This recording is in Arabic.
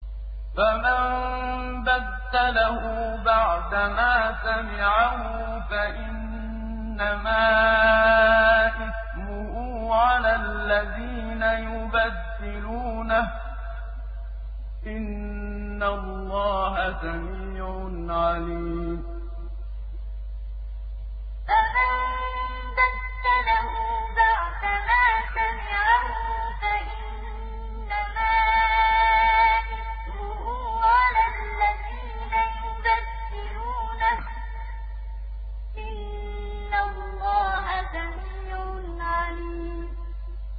فَمَن بَدَّلَهُ بَعْدَمَا سَمِعَهُ فَإِنَّمَا إِثْمُهُ عَلَى الَّذِينَ يُبَدِّلُونَهُ ۚ إِنَّ اللَّهَ سَمِيعٌ عَلِيمٌ فَمَن بَدَّلَهُ بَعْدَمَا سَمِعَهُ فَإِنَّمَا إِثْمُهُ عَلَى الَّذِينَ يُبَدِّلُونَهُ ۚ إِنَّ اللَّهَ سَمِيعٌ عَلِيمٌ